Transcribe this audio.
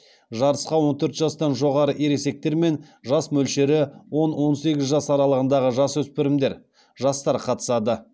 жарысқа он төрт жастан жоғары ересектер мен жас мөлшері он он сегіз жас аралығындағы жасөспірімдер жастар қатысады